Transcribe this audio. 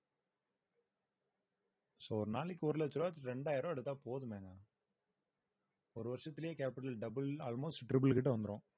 so ஒரு நாளைக்கு ஒரு லட்சம் ரூபாய் இரண்டாயிரம் ரூபாய் எடுத்தா போதுமேங்க ஒரு வருஷத்திலேயே capital double almost triple கிட்ட வந்திரும்